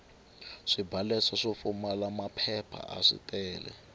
swibalesa swo pfumala maphepha aswi tele